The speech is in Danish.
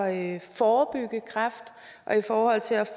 at forebygge kræft og i forhold til at